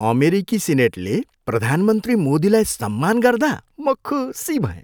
अमेरिकी सिनेटले प्रधानमन्त्री मोदीलाई सम्मान गर्दा म खुसी भएँ।